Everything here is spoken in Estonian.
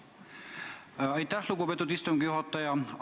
Aitäh, lugupeetud istungi juhataja!